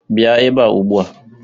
Bịa ebe a ugbu a!